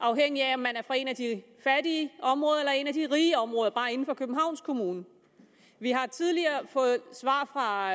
afhængigt af om man er fra et af de fattige områder eller et af de rige områder bare inden for københavns kommune vi har tidligere fået svar fra